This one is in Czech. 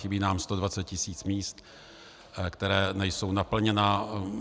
Chybí nám 120 tisíc míst, která nejsou naplněna.